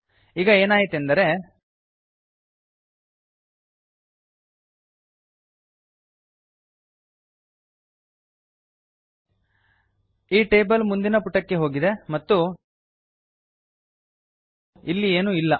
ಈಗ ಏನಾಯಿತೆಂದರೆ ಈ ಟೇಬಲ್ ಮುಂದಿನ ಪುಟಕ್ಕೆ ಹೋಗಿದೆ ಮತ್ತು ಇಲ್ಲಿ ಏನೂ ಇಲ್ಲ